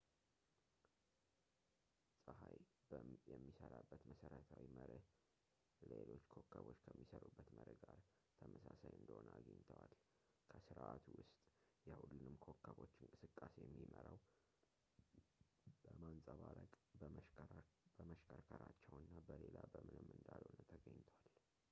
ጸሀይ የሚሰራበት መሰረታዊ መርህ ለሎች ኮከቦች ከሚሰሩበት መርህ ጋር ተመሳሳይ እንደሆነ አግኝተዋል በስርዓቱ ውስጥ የሁሉንም ኮከቦች እንቅስቃሴ የሚመራው በማንፀባረቅ በመሽከርከራቸው እና በሌላ በምንም እንዳልሆነ ተገኝቷል